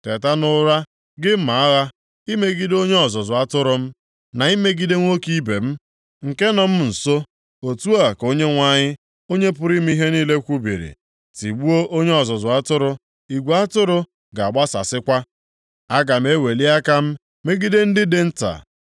“Teta nʼụra, gị mma agha, imegide onye ọzụzụ atụrụ m, na imegide nwoke ibe m, nke nọ m nso,” otu a ka Onyenwe anyị, Onye pụrụ ime ihe niile kwubiri. “Tigbuo onye ọzụzụ atụrụ, igwe atụrụ + 13:7 Ya bụ, igwe atụrụ nke ọ na-achị ga-agbasasịkwa. Aga m eweli aka m megide ndị dị nta.